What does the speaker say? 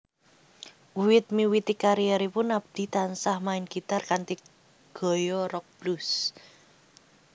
Wiwit miwiti karieripun Abdee tansah main gitar kanthi gaya rock blues